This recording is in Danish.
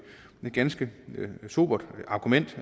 ganske sobert argument